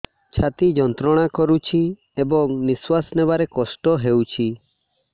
ଛାତି ଯନ୍ତ୍ରଣା କରୁଛି ଏବଂ ନିଶ୍ୱାସ ନେବାରେ କଷ୍ଟ ହେଉଛି